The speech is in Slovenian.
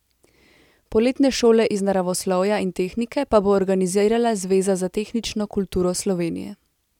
Poletne šole iz naravoslovja in tehnike pa bo organizirala Zveza za tehnično kulturo Slovenije.